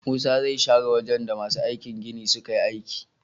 Musa zai share wajan da masu aikin gini suka yi aiki